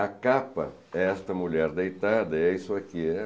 A capa, esta mulher deitada, é isso aqui.